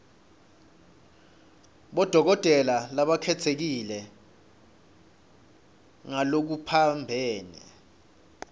bodokotela labakhetsekile ngalokuphambene